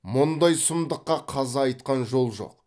мұндай сұмдыққа қаза айтқан жол жоқ